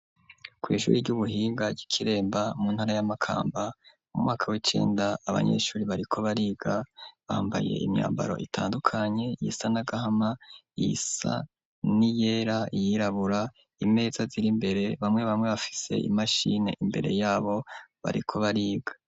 Ku ishuri ry'ubuhiga ryi Kiremba mu ntara ya Makamba mu mwaka w'icenda abanyeshuri bariko bariga bambaye imyambaro itandukanye iyisa n'agahama iyisa ni yera, iyirabura, imeza ziri mbere bamwe bamwe bafise imashini imbere yabo bariko bariga.